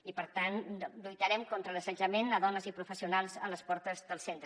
i per tant lluitarem contra l’assetjament a dones i professionals a les portes del centre